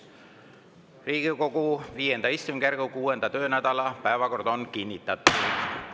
Riigikogu V istungjärgu 6. töönädala päevakord on kinnitatud.